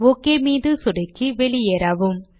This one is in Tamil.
ஓகே மீது சொடுக்கி வெளியேறவும்